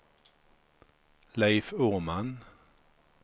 Leif Åman